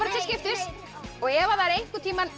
til skiptist og ef það er einhvern tíma